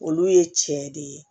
Olu ye cɛ de ye